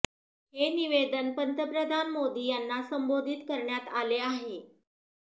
हे निवेदन पंतप्रधान मोदी यांना संबोधित करण्यात आले आहे